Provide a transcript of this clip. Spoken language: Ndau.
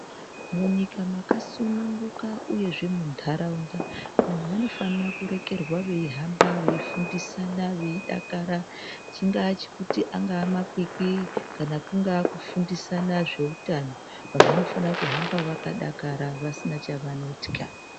Munyika mwakasununguka uyezve munharaunda vantu vanofanira kurekerwa veihamba veifundisana veidakara. Chingaa chekuti angaa makwikwi kana kungaa kufundisana zveutano. Vantu vanofana kuhamba vakadaro vasina chavanotya.